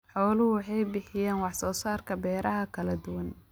Xooluhu waxay bixiyaan wax soo saarka beeraha kala duwan.